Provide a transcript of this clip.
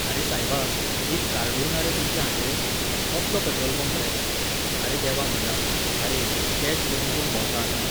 अरे सायबा, एक कार्डूय ना रे तुमचे हाचेर? कसलो पेट्रोल पंप रे. आरे देवा म्हाज्या, आरे, कॅश घेवन कोण भोंवता आतां?